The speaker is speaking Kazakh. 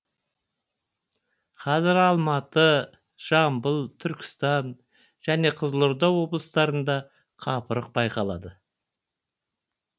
қазір алматы жамбыл түркістан және қызылорда облыстарында қапырық байқалады